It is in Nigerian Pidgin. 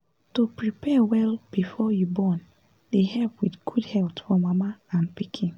to prepare well before you born dey help with good health for mama n d pikin